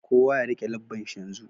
Kowa ya rike lebbanshi yanzu.